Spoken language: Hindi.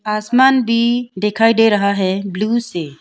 आसमान भी दिखाई दे रहा है ब्लू से--